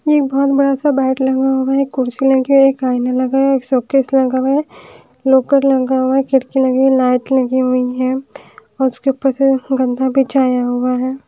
ये बहोत बड़ा सा लगा हुआ है कुर्सी लगी है एक आयना लगा है एक सोकेस लगा हुआ है लोकर लगा हुआ है खिड़की लगी हुई है लाइट लगी हुई है और उसके ऊपर से गद्दा बिछाया हुआ है।